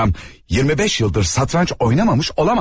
Bu adam 25 yıldır satranç oynamamış olamaz.